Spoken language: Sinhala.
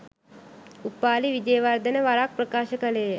උපාලි විජේවර්ධන වරක් ප්‍රකාශ කළේ ය